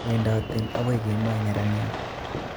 Wedoten akoi kemo neraniat